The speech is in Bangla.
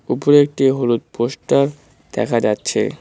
উপরে একটি হলুদ পোষ্টার দেখা যাচ্ছে।